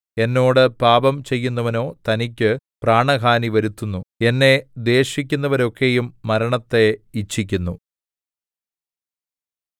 എന്നോട് പാപം ചെയ്യുന്നവനോ തനിക്ക് പ്രാണഹാനി വരുത്തുന്നു എന്നെ ദ്വേഷിക്കുന്നവരൊക്കെയും മരണത്തെ ഇച്ഛിക്കുന്നു